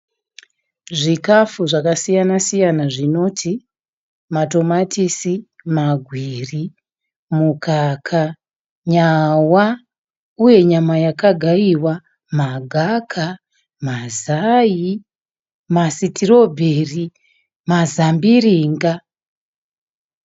Zvikafu zvakasiyana siyana zvinoti matomatisi, magwiri, mukaka, nyawa uye nyama yakagaiwa, magaka, mazai, masitirobheri, mazambiringa.